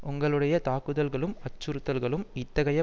உங்களுடைய தாக்குதல்களும் அச்சுறுத்தல்களும் இத்தகைய